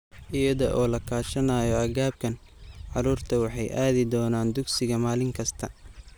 Iyada oo la kaashanayo agabkan, carruurtu waxay aadi doonaan dugsiga maalin kasta.